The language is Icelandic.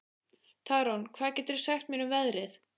Tarón, hvað geturðu sagt mér um veðrið?